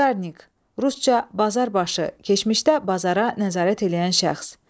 Bazarnik, rusca bazarbaşı, keçmişdə bazara nəzarət eləyən şəxs.